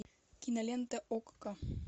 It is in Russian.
кинолента окко